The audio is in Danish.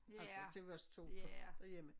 Altså til os 2 kun derhjemme